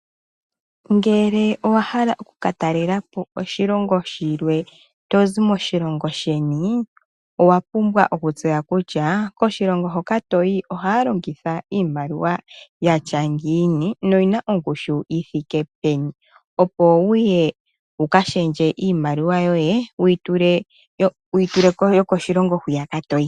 Ngele owahala okukatalela po oshili shilwe tozi moshilongo sheni, owapumbwa okutseya kutya koshilongo hoka toyi ohaya longitha iimaliwa yatya ngiini noyina ongushu yithike peni. Opo wuye wukashendje iimaliwa yoye wuyi tule yokoshilongo hwiyaka toyi.